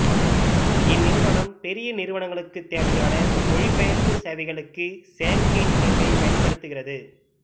இந்நிறுவனம் பெரிய நிறுவனங்களுக்குத் தேவையான மொழிபெயர்ப்பு சேவைகளுக்கு செயற்கை நுண்ணறிவைப் பயன்படுத்துகிறது